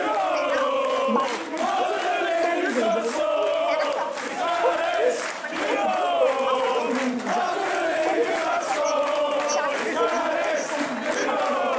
ফেনা বালির মধ্যে যেই হয়ে যায় এবং সেই ফেনাটা খুব quick মানে খুব দ্রুত আবার বিলীন হয়ে যায় কবি বলতে চাইছেন চারিদিকে হৃদয়ের সমুদ্র সকেন